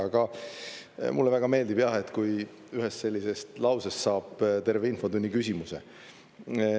Aga mulle väga meeldib, et kui ühest sellisest lausest saab terve infotunni küsimuse.